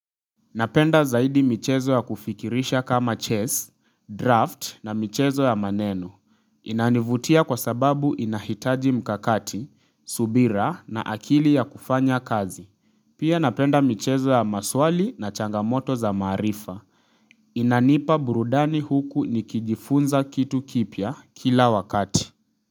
Napenda zaidi michezo ya kufikirisha kama chess, draft na michezo ya maneno. Inanivutia kwa sababu inahitaji mkakati, subira na akili ya kufanya kazi. Pia napenda michezo ya maswali na changamoto za maarifa. Inanipa burudani huku nikijifunza kitu kipya kila wakati.